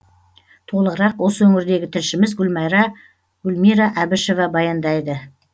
толығырақ осы өңірдегі тілшіміз гүлмайра гүлмира әбішева баяндайды